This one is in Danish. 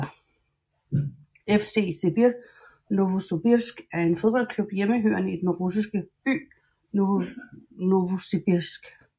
FC Sibir Novosobirsk er en fodboldklub hjemmehørende i den russiske by Novosibirsk